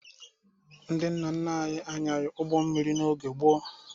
Ndị nna nna anyị anyaghị ụgbọ mmiri n'oge gboo.